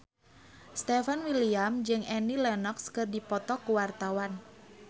Stefan William jeung Annie Lenox keur dipoto ku wartawan